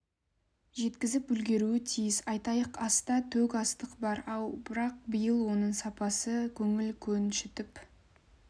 жеткізіп үлгеруі тиіс айтайық аста төк астық бар ау бірақ биыл оның сапасы көңіл көншітіп